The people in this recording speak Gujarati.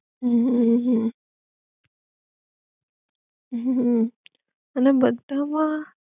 હ હ હ હમ અને બધા માં